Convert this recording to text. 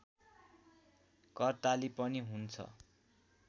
करताली पनि हुन्छ